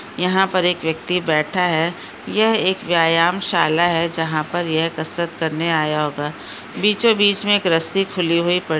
यहा पर एक व्यक्ति बैठा है यह एक व्यायाम शाला है जहा पर यह कसरत करने आया होगा बीचो बीच मे एक रस्सी खुली हुयी प --